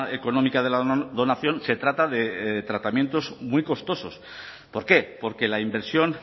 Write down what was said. económica de la donación se trata de tratamientos muy costosos por qué porque la inversión